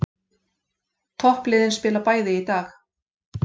Toppliðin spila bæði í dag